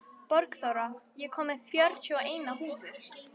Borgþóra, ég kom með fjörutíu og eina húfur!